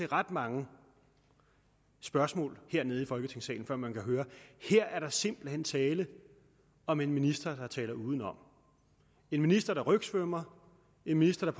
ret mange spørgsmål hernede folketingssalen før man har hørt at her er der simpelt hen tale om en minister der taler udenom en minister der rygsvømmmer en minister der